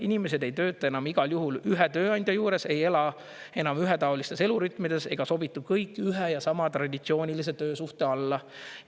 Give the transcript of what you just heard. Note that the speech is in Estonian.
Inimesed ei tööta enam igal juhul ühe tööandja juures, ei ela enam ühetaolistes elurütmides ega sobitu kõik ühe ja sama traditsioonilise töösuhte alla.